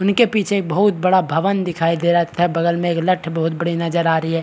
उनके पीछे एक बहुत बड़ा भवन दिखाई दे रहा था बगल में एक लठ बहोत बड़ी नज़र आ रही है।